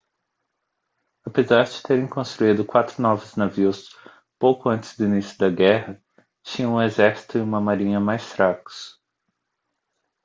apesar de terem construído quatro novos navios pouco antes do início da guerra tinham um exército e uma marinha mais fracos